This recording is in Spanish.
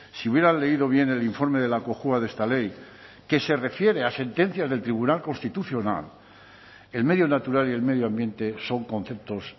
si hubieran leído bien el informe de la cojua de esta ley que se refiere a sentencias del tribunal constitucional el medio natural y el medio ambiente son conceptos